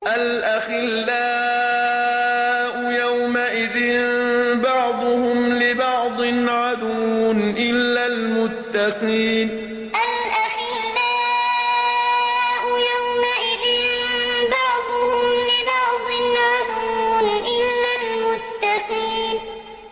الْأَخِلَّاءُ يَوْمَئِذٍ بَعْضُهُمْ لِبَعْضٍ عَدُوٌّ إِلَّا الْمُتَّقِينَ الْأَخِلَّاءُ يَوْمَئِذٍ بَعْضُهُمْ لِبَعْضٍ عَدُوٌّ إِلَّا الْمُتَّقِينَ